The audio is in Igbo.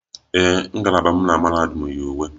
Ee, ngalaba m na mahadum yi uwe